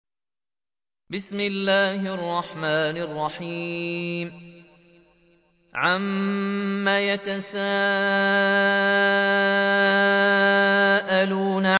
عَمَّ يَتَسَاءَلُونَ